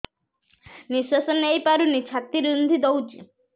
ନିଶ୍ୱାସ ନେଇପାରୁନି ଛାତି ରୁନ୍ଧି ଦଉଛି